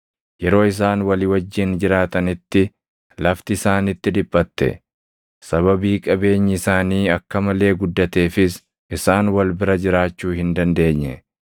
Yeroo isaan walii wajjin jiraatanitti lafti isaanitti dhiphatte; sababii qabeenyi isaanii akka malee guddateefis isaan wal bira jiraachuu hin dandeenye.